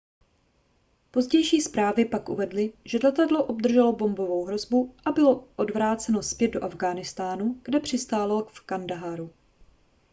pozdější zprávy pak uvedly že letadlo obdrželo bombovou hrozbu a bylo odvráceno zpět do afghánistánu kde přistálo v kandaháru